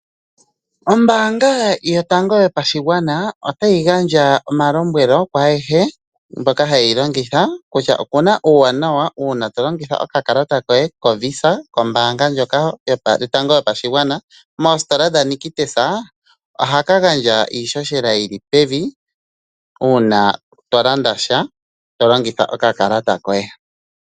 Ombaanga yotango yopashigwana otayi gandja omalombwelo kwaayehe mboka haye yi longitha, kutya opu na uuwanawa uuna tolongitha okakalata koye koVisa kombaanga ndjoka yotango yopashigwana moositola dhaNictus. Ohaka gandja iihohela yi li pevi uuna tolanda sha, to longitha okakalata koye.